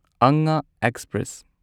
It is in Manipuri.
ꯑꯉꯥ ꯑꯦꯛꯁꯄ꯭ꯔꯦꯁ